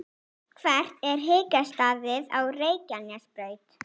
hvert er hitastigið á reykjanesbraut